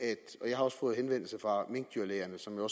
det jeg har også fået henvendelser fra minkdyrlægerne som jo